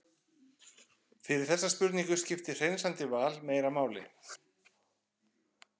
fyrir þessa spurningu skiptir hreinsandi val meira máli